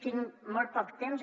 tinc molt poc temps